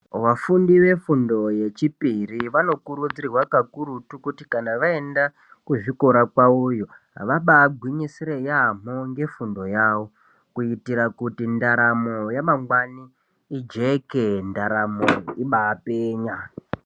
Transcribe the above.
Vafundi ve fundo ye chipiri vano kurudzirwa kakurutu kuti kana vaenda kuzvikora kwavoyo vabai gwinyisire yamho ngefundo yavo kuitire kuti ndaramo yamangwani ijeke ndaramo ibai penya.